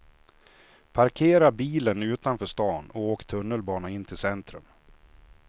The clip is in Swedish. Parkera bilen utanför stan och åk tunnelbana in till centrum.